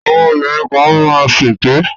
Àwọn obìnrin kan má ń ṣèké